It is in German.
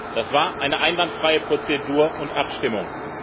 Das war eine einwandfreie Prozedur und Abstimmung.